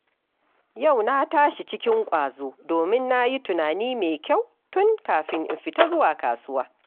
Yau na tashi cikin ƙwazo, domin na yi tunani mai kyau tun kafin in fita zuwa kasuwa.